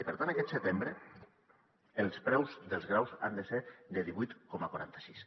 i per tant aquest setembre els preus dels graus han de ser de divuit coma quaranta sis